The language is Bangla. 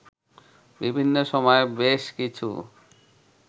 বিভিন্ন সময়ে বেশ কিছু